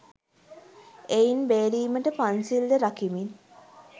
එයින් බේරීමට පන්සිල්ද රකිමින්